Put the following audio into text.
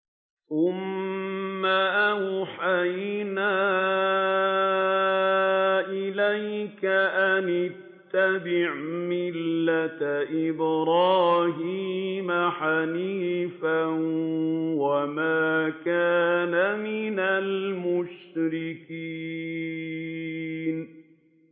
ثُمَّ أَوْحَيْنَا إِلَيْكَ أَنِ اتَّبِعْ مِلَّةَ إِبْرَاهِيمَ حَنِيفًا ۖ وَمَا كَانَ مِنَ الْمُشْرِكِينَ